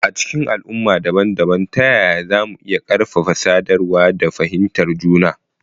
A cikin al'umma dabam-dabam, ta yaya za mu iya ƙarfafa sadarwa da fahimtar juna?